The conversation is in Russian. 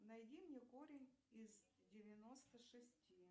найди мне корень из девяносто шести